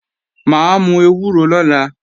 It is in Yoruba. Mà á mú ewúro lọ́la